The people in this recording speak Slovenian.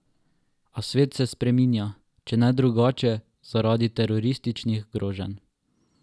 A svet se spreminja, če ne drugače, zaradi terorističnih groženj.